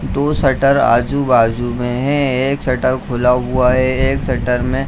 दो शटर आजु-बाजु में है एक शटर खुला हुआ है शटर में --